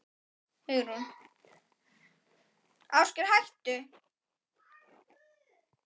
Hugrún: Aldrei heyrt þess getið?